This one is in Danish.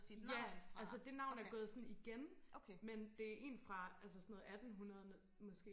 ja altså det navn er gået sådan igen men er det er en fra altså sådan 1800 måske